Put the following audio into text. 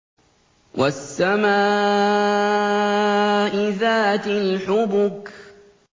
وَالسَّمَاءِ ذَاتِ الْحُبُكِ